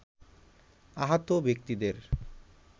আহত ব্যক্তিদের